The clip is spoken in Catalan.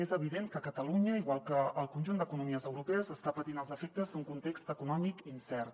és evident que catalunya igual que el conjunt d’economies europees està patint els efectes d’un context econòmic incert